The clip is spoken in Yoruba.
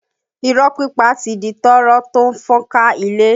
Irọ́ pípa ti di tọ́rọ́ tó ń fọ́n ká ilé